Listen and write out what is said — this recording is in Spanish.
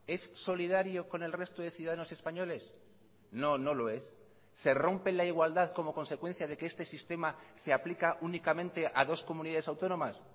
es solidario con el resto de ciudadanos españoles no no lo es se rompe la igualdad como consecuencia de que este sistema se aplica únicamente a dos comunidades autónomas